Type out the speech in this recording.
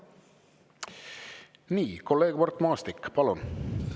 Nii, kolleeg Mart Maastik, palun!